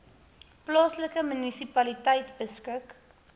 plaaslike munisipaliteite beskik